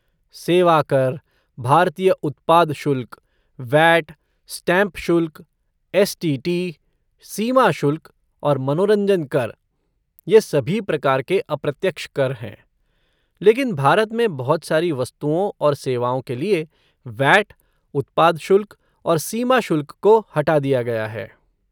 सेवा कर, भारतीय उत्पाद शुल्क, वैट, स्टाम्प शुल्क, एस.टी.टी., सीमा शुल्क और मनोरंजन कर, ये सभी प्रकार के अप्रत्यक्ष कर हैं, लेकिन भारत में बहुत सारी वस्तुओं और सेवाओं के लिए वैट, उत्पाद शुल्क और सीमा शुल्क को हटा दिया गया है।